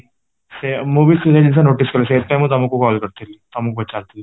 ସେଇଆ ମୁଁ ବି ସେଇଆ ଜିନିଷ notice କରିଛି ସେଥି ପାଇଁ ତମକୁ ମୁଁ call କରିଥିଲି ତମକୁ ପଚାରିଥିଲି